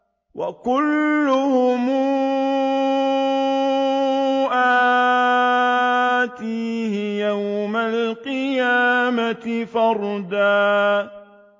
وَكُلُّهُمْ آتِيهِ يَوْمَ الْقِيَامَةِ فَرْدًا